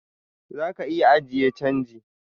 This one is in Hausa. Zaka iya ajiye change.